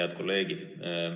Head kolleegid!